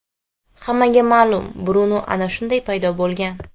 Hammaga ma’lum Brunu ana shunday paydo bo‘lgan.